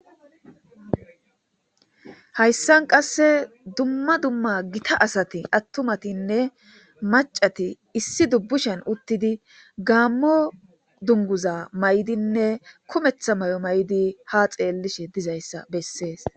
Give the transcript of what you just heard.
Hayssan qasse dumma dumma gita asati attumatinne macati issi dubbushen uttidi gaammo dunguza may'dinne kumeththa may'o may'di ha xeellishe dizayssa bessees.